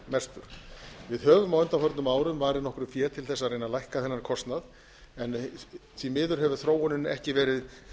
mestur við höfum á undanförnum árum varið nokkru fé til þess að reyna að lækka þennan kostnað en því miður hefur þróunin ekki verið